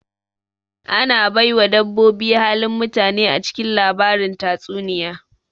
Ana baiwa dabboboi halin mutane acikin lbarin tatsuniya